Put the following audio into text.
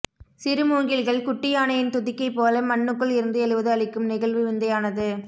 சிறுமூங்கில்கள் குட்டி யானையின் துதிக்கை போல மண்ணுக்குள் இருந்து எழுவது அளிக்கும் நெகிழ்வு விந்தையானது